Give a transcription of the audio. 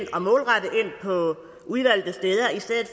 på udvalgte steder i stedet